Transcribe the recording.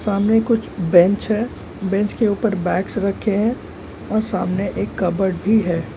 सामने कुछ बेंच है बेंच के ऊपर बैग्स रखे हैं और सामने एक कबर्ड भी है।